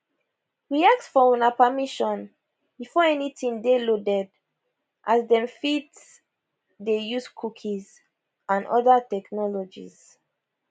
we ask for una permission before anytin dey loaded as dem fit dey use cookies and oda technologies